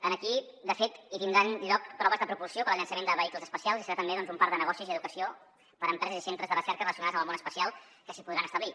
aquí de fet hi tindran lloc proves de propulsió per al llançament de vehicles espacials i serà també doncs un parc de negocis i educació per a empreses i centres de recerca relacionats amb el món espacial que s’hi podran establir